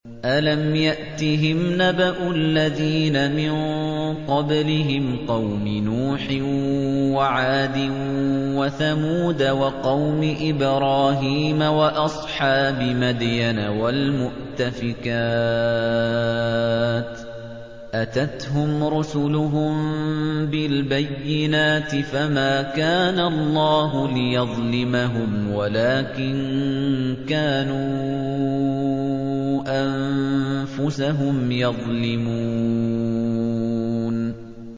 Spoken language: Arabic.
أَلَمْ يَأْتِهِمْ نَبَأُ الَّذِينَ مِن قَبْلِهِمْ قَوْمِ نُوحٍ وَعَادٍ وَثَمُودَ وَقَوْمِ إِبْرَاهِيمَ وَأَصْحَابِ مَدْيَنَ وَالْمُؤْتَفِكَاتِ ۚ أَتَتْهُمْ رُسُلُهُم بِالْبَيِّنَاتِ ۖ فَمَا كَانَ اللَّهُ لِيَظْلِمَهُمْ وَلَٰكِن كَانُوا أَنفُسَهُمْ يَظْلِمُونَ